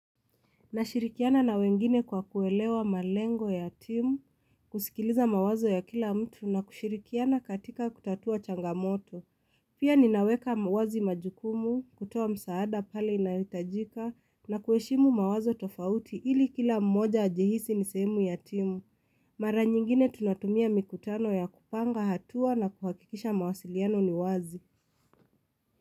Nashirikiana na wengine kwa kuelewa malengo ya timu, kusikiliza mawazo ya kila mtu na kushirikiana katika kutatua changamoto. Pia ninaweka wazi majukumu, kutoa msaada pale inahitajika na kueshimu mawazo tofauti ili kila mmoja jihisi nisemu ya timu. Mara nyingine tunatumia mikutano ya kupanga hatua na kuhakikisha mawasiliano ni wazi.